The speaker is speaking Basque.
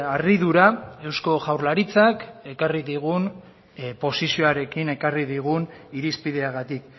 harridura eusko jaurlaritzak ekarri digun posizioarekin ekarri digun irizpideagatik